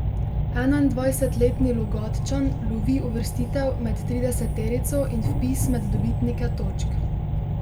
Enaindvajsetletni Logatčan lovi uvrstitev med trideseterico in vpis med dobitnike točk.